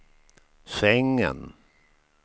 sängen